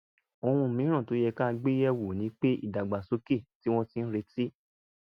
ohun mìíràn tó yẹ ká gbé yẹ̀ wò ni pé ìdàgbàsókè tí wọ́n ti ń retí